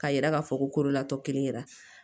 K'a yira k'a fɔ kololatɔ kelen yɛrɛ la